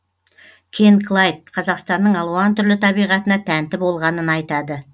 кен клайд қазақстанның алуан түрлі табиғатына тәнті болғанын айтады